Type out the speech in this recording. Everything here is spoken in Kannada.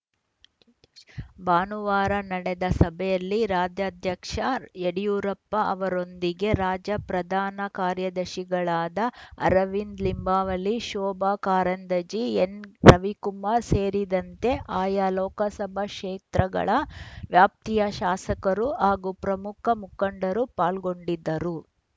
ಭಾನುವಾರ ನಡೆದ ಸಭೆಯಲ್ಲಿ ರಾಜ್ಯಾಧ್ಯಕ್ಷ ಯಡಿಯೂರಪ್ಪ ಅವರೊಂದಿಗೆ ರಾಜ್ಯ ಪ್ರಧಾನ ಕಾರ್ಯದರ್ಶಿಗಳಾದ ಅರವಿಂದ್‌ ಲಿಂಬಾವಳಿ ಶೋಭಾ ಕಾರಂದಜಿ ಎನ್‌ರವಿಕುಮಾರ್‌ ಸೇರಿದಂತೆ ಆಯಾ ಲೋಕಸಭಾ ಕ್ಷೇತ್ರಗಳ ವ್ಯಾಪ್ತಿಯ ಶಾಸಕರು ಹಾಗೂ ಪ್ರಮುಖ ಮುಖಂಡರು ಪಾಲ್ಗೊಂಡಿದ್ದರು